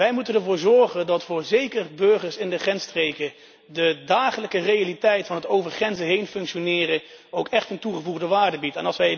Wij moeten ervoor zorgen dat zeker voor burgers in de grensstreken de dagelijkse realiteit van over grenzen heen functioneren ook echt een toegevoegde waarde biedt.